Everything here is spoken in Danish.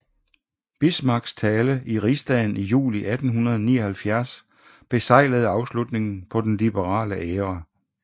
Bismarcks tale i rigsdagen i juli 1879 beseglede afslutningen på den liberale æra